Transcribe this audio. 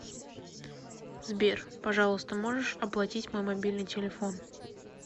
сбер пожалуйста можешь оплатить мой мобильный телефон